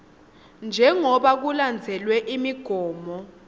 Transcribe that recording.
njengobe kulandzelwe imigomo